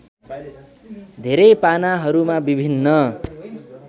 धेरै पानाहरूमा विभिन्न